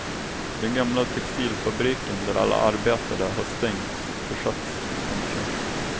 Den gamla textilfabriken där alla arbetade har stängts, försatts i konkurs.